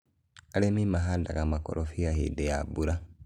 arĩmi mahandaga makorobia hĩndĩ ya mbura